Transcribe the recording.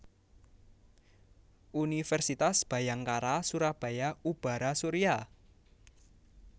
Universitas Bhayangkara Surabaya Ubhara Surya